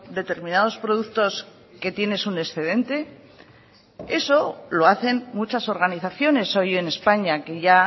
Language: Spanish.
determinados productos que tienes un excedente eso lo hacen muchas organizaciones hoy en españa que ya